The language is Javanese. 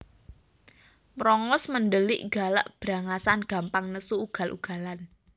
Mrongos mendelik galak brangasan gampang nesu ugal ugalan